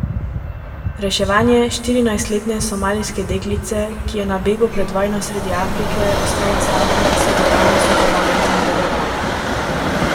Reševanje štirinajstletne somalijske deklice, ki je na begu pred vojno sredi Afrike ostala sama, se bo danes v parlamentu nadaljevalo.